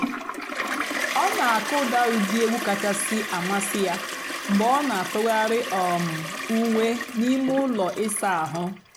ọ́ nà-àkụ́dà ụ́dị́ ègwú kàchàsị́ àmásị́ yá mg̀bé ọ́ nà-àtụ́ghàrị́ um ùwé n'íìmé ụ́lọ́ ị̀sà àhú́.